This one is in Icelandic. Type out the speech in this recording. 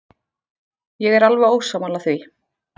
Ég er alveg ósammála því.